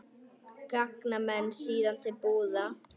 Ganga menn síðan til búða.